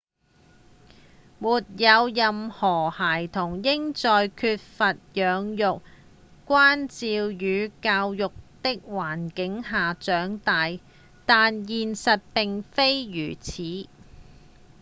沒有任何孩童應在缺乏養育、關照與教育的環境下長大但現實並非如此